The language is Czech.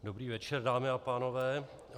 Dobrý večer, dámy a pánové.